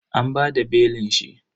An bada belin shi.